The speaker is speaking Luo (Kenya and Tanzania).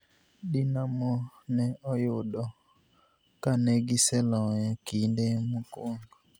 Dinamo ne oyudo ka negiseloyo kinde mokuongo.